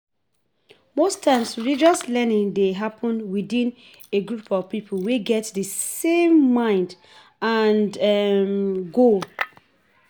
Most times religious learning dey happen within a group of pipo we get di same mind and goal